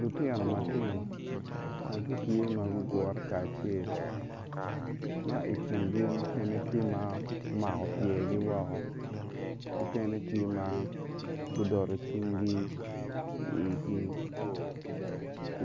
Lutino ma tino ma gitye gugure kacel ma i kingi tye mukene ma omako pyegi woko mukene tye ma gudolo cingi i igi